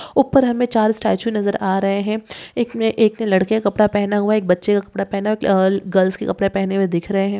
ऊपर हमें चार स्टेचू नजर आ रहे हैं एक लड़के का कपड़ा पहनना हुआ एक बच्चे का कपड़ा पहनना हुआ गर्ल्स के कपड़े पहने हुए दिख रहे हैं।